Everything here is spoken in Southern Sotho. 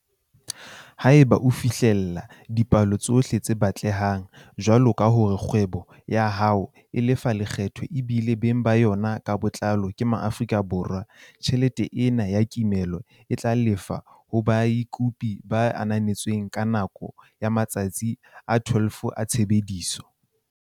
Haeba o fihlella dipeelo tsohle tse batlehang, jwaloka hore kgwebo ya hao e lefa lekgetho ebile beng ba yona ka botlalo ke Maafrika Borwa, tjhelete ena ya kimollo e tla lefshwa ho bakopi ba ananetsweng ka nako ya matsatsi a 12 a tshebetso.